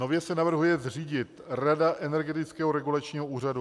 Nově se navrhuje zřídit Rada Energetického regulačního úřadu.